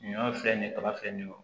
Ɲɔ filɛ nin ye kaba filɛ nin ye